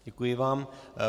Děkuji vám.